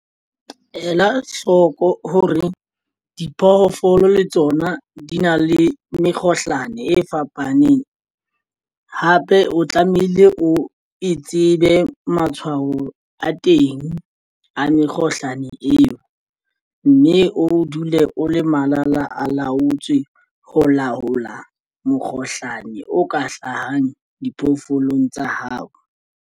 Ela hloko hore diphoofolo le tsona di na le mekgohlano e fapaneng. Hape o tlamehile o e tsebe matshwao a teng a mekgohlane eo, mme o dule o le malala a laotswe ho laola mokgohlane o ka hlahang diphoofolong tsa hao.